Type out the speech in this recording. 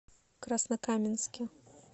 краснокаменске